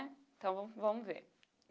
Então vamo vamo ver.